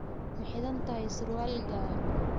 Ma xidhan tahay surwaal gaaban?